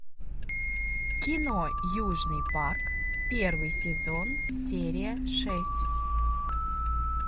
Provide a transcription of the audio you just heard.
кино южный парк первый сезон серия шесть